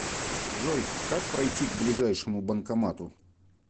джой как пройти к ближайшему банкомату